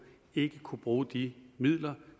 ikke kunne bruge de midler